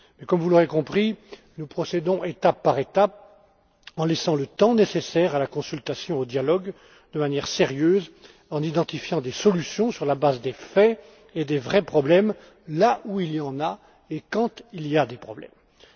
Comme vous l'aurez compris, nous procédons étape par étape, en laissant le temps nécessaire à la consultation et au dialogue, de manière sérieuse, en identifiant des solutions sur la base des faits et des vrais problèmes là où il y en a et quand il y en a.